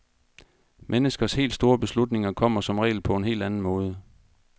Menneskers helt store beslutninger kommer som regel på en helt anden måde.